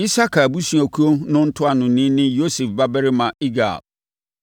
Isakar abusuakuo no ntuanoni ne Yosef babarima Igal;